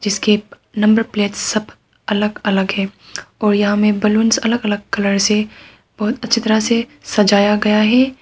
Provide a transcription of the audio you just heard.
उसके number plate सब अलग अलग है और यहां में बलूंस अलग अलग कलर से बहुत अच्छी तरह से सजाया गया है।